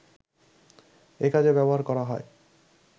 এ কাজে ব্যবহার করা হয়